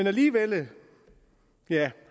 alligevel